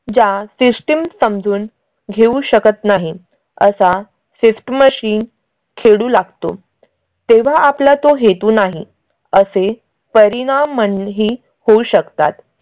ज्या system समजून घेऊ शकत नाही असा fifth machine खेळू लागतो तेव्हा आपल्या तो हेतू नाही असे परिणाम ही होऊ शकतात